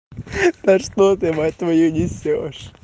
да что ты мать твою несёшь